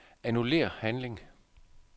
Annullér handling.